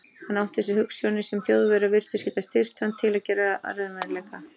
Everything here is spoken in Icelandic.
Hann átti sér hugsjónir, sem Þjóðverjar virtust geta styrkt hann til að gera að raunveruleika.